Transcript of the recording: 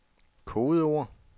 kodeord